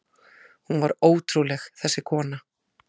Hún var ótrúleg, þessi kona.